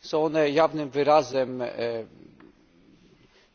Są one jawnym wyrazem